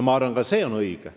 Ma arvan, et ka see on õige.